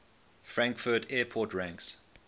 frankfurt airport ranks